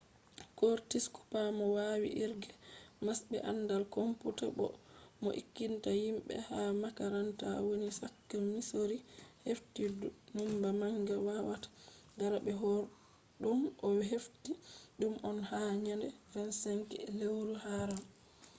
kortis kupa mo wawi irge mas be andal komputa boo mo ekkitinta himɓe ha makaranta woni chaka misori hefti numba manga wawata dara be hore ɗum. o hefti ɗum on ha nyande 25 je lewru haaram